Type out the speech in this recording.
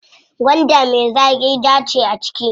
Gwanda me zaƙi jaa ce a ciki.